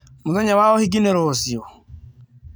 Mũthenya wa ũhiki nĩ rũciũ?